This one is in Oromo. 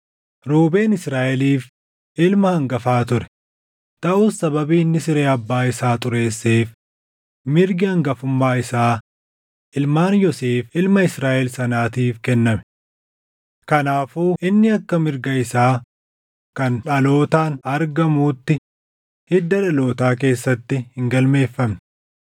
Ruubeen Israaʼeliif ilma hangafa ture; taʼus sababii inni siree abbaa isaa xureesseef mirgi hangafummaa isaa ilmaan Yoosef ilma Israaʼel sanaatiif kenname. Kanaafuu inni akka mirga isaa kan dhalootaan argamuutti hidda dhalootaa keessatti hin galmeeffamne;